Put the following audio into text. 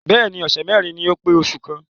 Bẹ́ẹ̀ni ọ̀sẹ̀ mẹ́rin ni ó pé oṣù kan.